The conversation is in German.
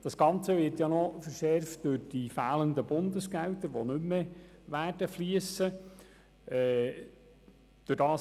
Das Ganze wird ja noch verschärft durch die Bundesgelder, die nicht mehr fliessen werden.